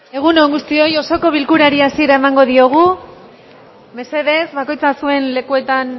egun on guztioi osoko bilkurari hasiera emango diogu mesedez bakoitza zuen lekuetan